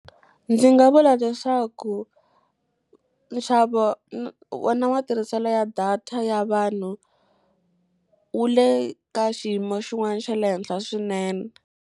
Ndzi nga vula leswaku nxavo wona matirhiselo ya data ya vanhu, wu le ka xiyimo xin'wana xa le henhla swinene.